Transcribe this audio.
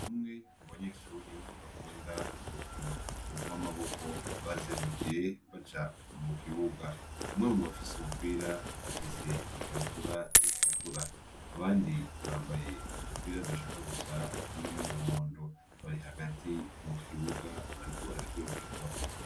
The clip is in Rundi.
Bumwe mu banyeshuri bakunda urukino ubw' amaboko bazendukiye baja mu kibuga umwe mu bafise umupira afise ikabutura etukura abandi bambaye utupira udashaka gusa n'umuwondo bari hagati mu kibuga bariko bararyokerwa.